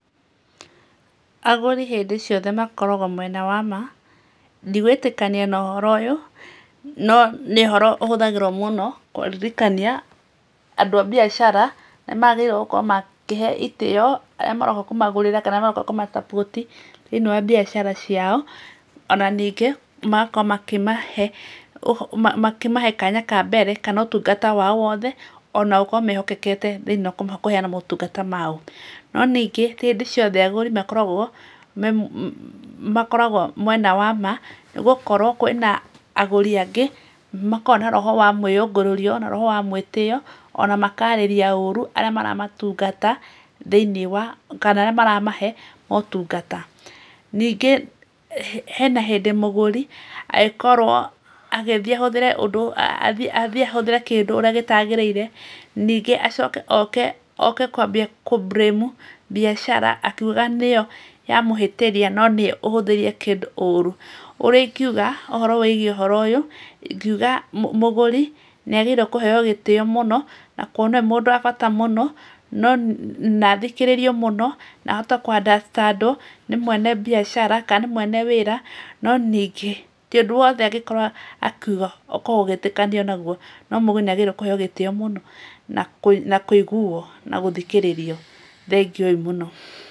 Agũri hĩndĩ ciothe makoragwo mwena wa ma, ndigwĩtĩkania na ũhoro ũyũ, no nĩ ũhoro ũhũthagĩrwo mũno, kũririkania andũ a mbiacara, nĩmagĩrĩirwo gũkorwo makĩhe itĩo, arĩa maroka kũmagũrĩra kana maroka kũma support thĩiniĩ wa mbiacara ciao, ona ningĩ, magakorwo makĩ, makĩmahe kanya ka mbere, kana ũtungata wao wothe, ona gũkorwo mehokekete thĩiniĩ wa kũheana motungata mao, no ningĩ, ti hĩndĩ ciothe agũri makoragwo me, makoragwo mwena wa ma, nĩgũkorwo kwĩ na agũri angĩ makoragwo na roho wa mwĩyũngũrũrio, na roho wa mwĩtĩo, ona makarĩria ũru, arĩa maramatungata thĩiniĩ wa, kana arĩa maramahe motungata, ningĩ, hena hĩndĩ mũgũri angĩkorwo angĩthiĩ ũndũ athiĩ ahũthĩre kĩndũ ũrĩa gĩtagĩrĩire, ningĩ acoke oke, oke kwambia kũ blame mbiacara, akiugaga nĩyo yamũhĩtĩria, no nĩwe ũhũthĩrie kĩndũ ũru, ũrĩa ingiuga ũhoro wĩgiĩ ũhoro ũyũ, ingiuga mũgũri nĩagĩrĩirwo kũheyo gĩtĩo mũno, na kuona mũndũ wa bata mũno na kuo na athikĩrĩrie mũno, na ahote kũ understand tondũ, nĩ mwene mbiacara, ka nĩ mwene wĩra, no ningĩ, ti ũndũ wothe angĩkorwo akiuga ũkorwo ũgĩtĩkanio naguo, no mũgũri nĩagĩrĩirwo nĩ kũheyo gĩtĩo mũno na kũ na kũ iguo na gũthikĩrĩrio, thengiũ-i mũno.